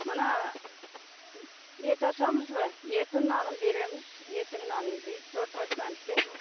мына ет асамыз ба еттің нанын береміз еттің нанын жейді сорпасынан ішеді